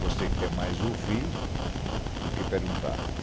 Você quer mais ouvir do que perguntar.